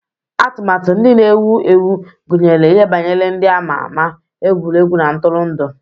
Atụmatụ ndị na-ewu ewu gụnyere ihe banyere ndị a ma ama, egwuregwu na ntụrụndụ.